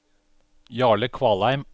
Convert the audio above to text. Jarle Kvalheim